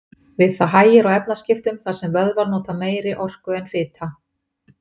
Við það hægir á efnaskiptum þar sem vöðvar nota meiri orku en fita.